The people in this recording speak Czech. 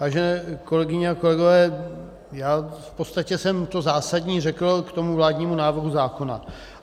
Vážené kolegyně a kolegové, já v podstatě jsem to zásadní řekl k tomu vládnímu návrhu zákona.